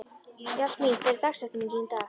Jasmín, hver er dagsetningin í dag?